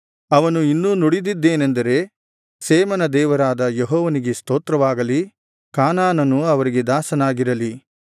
ಅವನು ಇನ್ನೂ ನುಡಿದದ್ದೇನೆಂದರೆ ಶೇಮನ ದೇವರಾದ ಯೆಹೋವನಿಗೆ ಸ್ತೋತ್ರವಾಗಲಿ ಕಾನಾನನು ಅವರಿಗೆ ದಾಸನಾಗಿರಲಿ